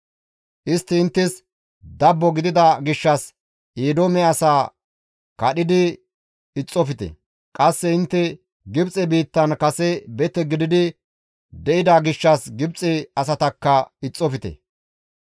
Istti inttes dabbo gidida gishshas Eedoome asaa kadhidi ixxofte; qasse intte Gibxe biittan kase bete gididi de7ida gishshas Gibxe asatakka ixxofte.